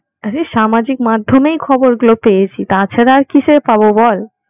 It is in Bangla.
আরে সামাজিক মাধ্যমেই খবর গুলো পেয়েছি তা ছাড়া আর কিসে পাব বল